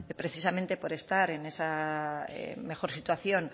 precisamente por estar en esa mejor situación